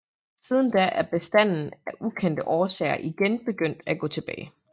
Siden da er bestanden af ukendte årsager igen begyndt at gå tilbage